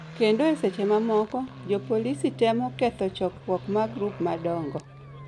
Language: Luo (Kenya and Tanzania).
kendo e seche mamoko jopolisi temo ketho chokruok mag grup madongo.